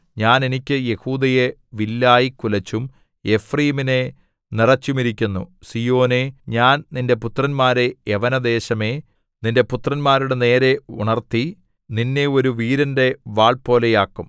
ഞാൻ എനിക്ക് യെഹൂദയെ വില്ലായി കുലച്ചും എഫ്രയീമിനെ നിറെച്ചുമിരിക്കുന്നു സീയോനേ ഞാൻ നിന്റെ പുത്രന്മാരെ യവനദേശമേ നിന്റെ പുത്രന്മാരുടെ നേരെ ഉണർത്തി നിന്നെ ഒരു വീരന്റെ വാൾപോലെയാക്കും